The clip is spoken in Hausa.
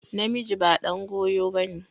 Namiji ba ɗan goyo ba ne.